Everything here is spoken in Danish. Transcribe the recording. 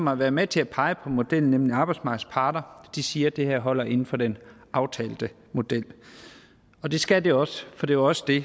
har været med til at pege på modellen nemlig arbejdsmarkedets parter siger at det her holder sig inden for den aftalte model det skal det også for det var også det